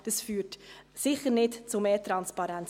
Dieser Antrag führt sicher nicht zu mehr Transparenz.